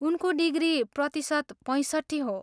उनको डिग्री प्रतिशत पैसट्ठी हो।